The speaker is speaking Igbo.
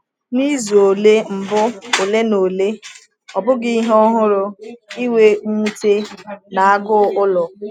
N’izu ole mbụ ole na ole, ọ bụghị ihe ọhụrụ ịnwe mwute na agụụ ụlọ.